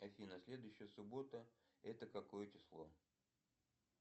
афина следующая суббота это какое число